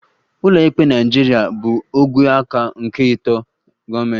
Ụlọikpe Naịjirịa bụ ogwe aka nke atọ nke gọọmentị